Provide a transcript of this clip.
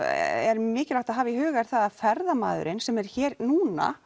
er mikilvægt að hafa í huga að ferðamaður sem er hér núna